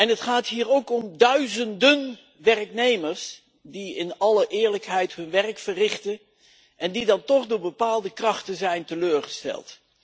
Het gaat hier ook om duizenden werknemers die in alle eerlijkheid hun werk verrichten en die dan toch door bepaalde krachten zijn teleurgesteld.